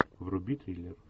вруби триллер